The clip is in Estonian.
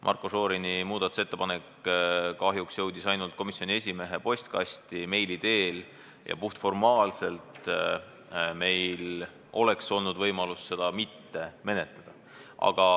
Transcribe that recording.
Marko Šorini muudatusettepanek jõudis kahjuks ainult komisjoni esimehe postkasti meili teel, st puhtformaalselt oleks meil olnud võimalus seda mitte menetleda.